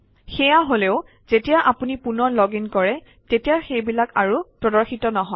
সেয়া হলেও যেতিয়া আপুনি পুনৰ লগ ইন কৰে তেতিয়া সেইবিলাক আৰু প্ৰদৰ্শিত নহয়